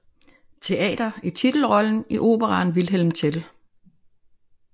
Teater i titelrollen i operaen Vilhelm Tell